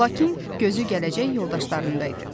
Lakin gözü gələcək yoldaşlarında idi.